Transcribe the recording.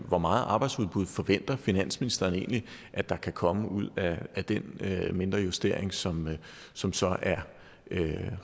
hvor meget arbejdsudbud forventer finansministeren egentlig at der kan komme ud af den mindre justering som som så er